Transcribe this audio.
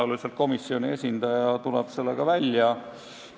Tõenäoliselt komisjoni esindaja tuleb sellega välja.